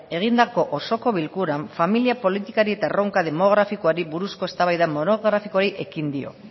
egindako osoko bilkuran familia politikari eta erronka demografikoari buruzko eztabaida monografikoari ekin dio